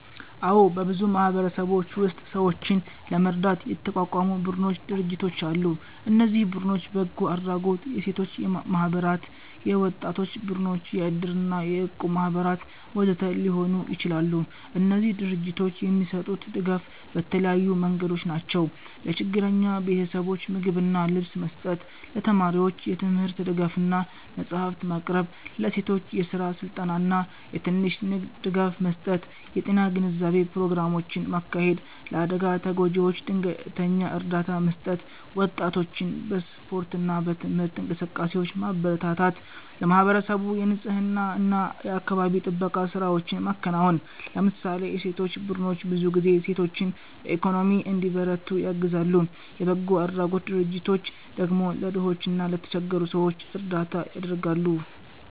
አዎ፣ በብዙ ማህበረሰቦች ውስጥ ሰዎችን ለመርዳት የተቋቋሙ ቡድኖችና ድርጅቶች አሉ። እነዚህ ቡድኖች በጎ አድራጎት፣ የሴቶች ማህበራት፣ የወጣቶች ቡድኖች፣ የእድር እና የእቁብ ማህበራት ወዘተ ሊሆኑ ይችላሉ። እነዚህ ድርጅቶች የሚሰጡት ድጋፍ በተለያዩ መንገዶች ነው፦ ለችግረኛ ቤተሰቦች ምግብና ልብስ መስጠት ለተማሪዎች የትምህርት ድጋፍ እና መጽሐፍት ማቅረብ ለሴቶች የስራ ስልጠና እና የትንሽ ንግድ ድጋፍ መስጠት የጤና ግንዛቤ ፕሮግራሞችን ማካሄድ ለአደጋ ተጎጂዎች ድንገተኛ እርዳታ መስጠት ወጣቶችን በስፖርት እና በትምህርት እንቅስቃሴዎች ማበረታታት ለማህበረሰቡ የንፅህና እና የአካባቢ ጥበቃ ስራዎችን ማከናወን ለምሳሌ የሴቶች ቡድኖች ብዙ ጊዜ ሴቶችን በኢኮኖሚ እንዲበረቱ ያግዛሉ፣ የበጎ አድራጎት ድርጅቶች ደግሞ ለድሆች እና ለተቸገሩ ሰዎች እርዳታ ያደርጋሉ።